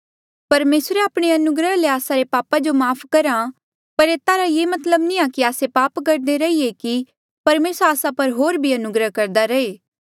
परमेसरे आपणे अनुग्रह ले आस्सा रे पापा जो माफ़ करहा पर एता रा मतलब ये नी कि आस्से पाप करदे रहिए कि परमेसर आस्सा पर होर भी अनुग्रह करदा रहे